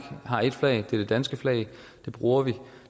har et flag og det er det danske flag det bruger vi og